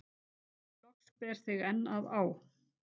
Loks ber þig enn að á